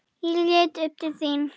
Ég leit upp til þín.